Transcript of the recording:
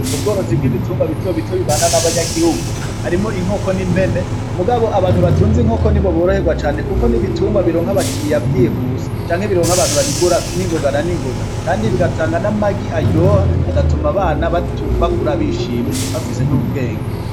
Ubworozi bwa ibitungwa bito bito bibana n'abanyagihugu harimwo ; inkoko na impene mugabo abantu batunze inkoko nibo boroherwa cane kuko ni ibitungwa bironka abakiliya vyihuse canke bironka abantu babigura ningoga na ningoga kandi bigatanga n'amagi aryoha agatuma abana bakura bishimye bafise n'ubwenge.